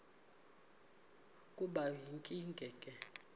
kube yinkinge ke